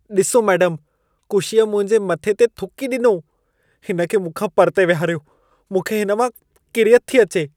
ॾिसो मेडमु, कुशीअ मुंहिंजे मथे ते थुकी ॾिनो। हिन खे मूंखां परिते विहारियो। मूंखे हिन मां किरियत थी अचे।